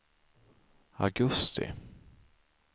augusti